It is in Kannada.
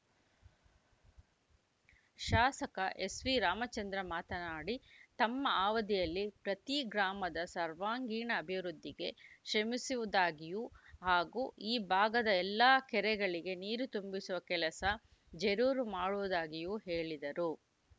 ಶಾಸಕ ಎಸ್‌ವಿ ರಾಮಚಂದ್ರ ಮಾತನಾಡಿ ತಮ್ಮ ಅವಧಿಯಲ್ಲಿ ಪ್ರತಿ ಗ್ರಾಮದ ಸರ್ವಾಂಗೀಣ ಅಭಿವೃದ್ಧಿಗೆ ಶ್ರಮಿಸುವುದಾಗಿಯೂ ಹಾಗೂ ಈ ಭಾಗದ ಎಲ್ಲಾ ಕೆರೆಗಳಿಗೆ ನೀರು ತುಂಬಿಸುವ ಕೆಲಸ ಜರೂರು ಮಾಡುವುದಾಗಿಯೂ ಹೇಳಿದರು